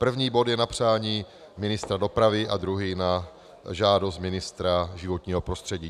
První bod je na přání ministra dopravy a druhý na žádost ministra životního prostředí.